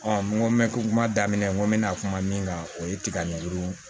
n ko n bɛ ko kuma daminɛ n ko n bɛna kuma min kan o ye tiga ɲagurun ye